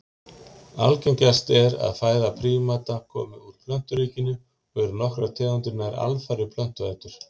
Algengast er að fæða prímata komi úr plönturíkinu og eru nokkrar tegundir nær alfarið plöntuætur.